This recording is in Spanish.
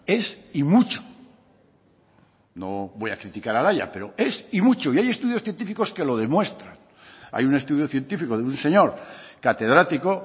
es y mucho no voy a criticar al haya pero es y mucho y hay estudios científicos que lo demuestran hay un estudio científico de un señor catedrático